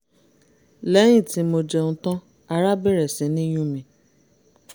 lẹ́yìn tí mo jẹun tán ara bẹ̀rẹ̀ sí ní yún mi